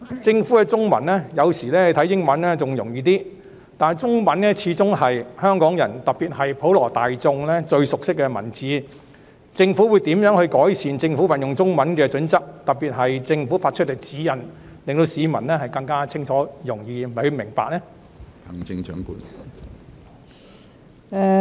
政府的中文——有時英文版反而更易懂，但中文始終是香港人，特別是普羅大眾最熟悉的文字，政府會如何改善運用中文的準則，特別是政府發出的指引，使其更清晰易懂？